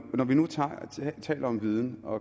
taler om viden og